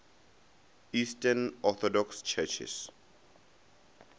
eastern orthodox churches